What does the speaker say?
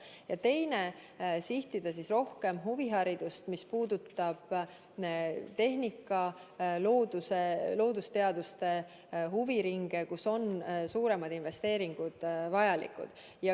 Ja teiseks, sihtida rohkem sellist huviharidust, mis puudutab tehnika- ja loodusteaduste huviringe, kus on vaja suuremaid investeeringuid.